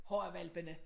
Horra hvalpene